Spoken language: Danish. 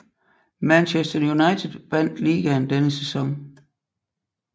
Manchester United vandt ligaen denne sæson